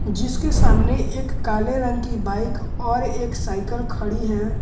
जिसके सामने एक काले रंग की बाइक और एक साइकल खड़ी है।